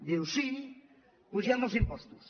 diu sí apugem els impostos